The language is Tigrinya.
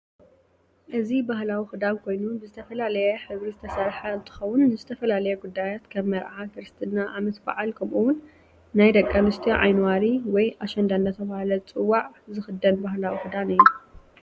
እዚ ባህላዊ ክዳን ኮይኑ ብዝተፈላለየ ሕብሪ ዝተሰርሐ እንትኸውን ንዝተፈላለየ ጉዳያት ከም ምርዓ፣ ክርስትና፣ ዓመት በዓል ከምኡ እውን ናይ ደቂ ኣነስትዮ ዓይኒ ዋሪ ወይ ኣሸንዳ እንዳተባህለ ዝፅዋዕ ዝኽደን ባህላዊ ክዳን እዩ፡፡